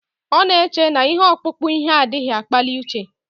Ọ na-eche na ihe ọkpụkpụ ihe adịghị akpali uche